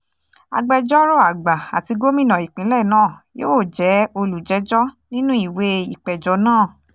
agbẹjọ́rò àgbà àti gómìnà ìpínlẹ̀ náà yóò jẹ́ olùjẹ́jọ́ nínú ìwé ìpéjọ náà